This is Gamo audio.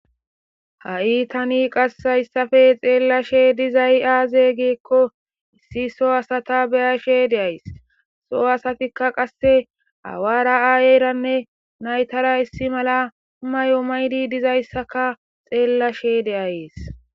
Ha'i tani qas hayssappe xeelashe dizay aaze giiko issi soo asata be'ashe de'ays; soo asatikka qasse aawara aayeranne naytara issi mala mayo mayidi dizayssaka xeelashe de'ays.